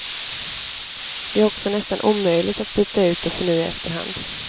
Det är också nästan omöjligt att byta ut och förnya efter hand.